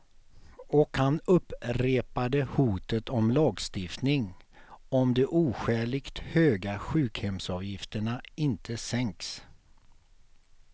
Och han upprepade hotet om lagstiftning, om de oskäligt höga sjukhemsavgifterna inte sänks.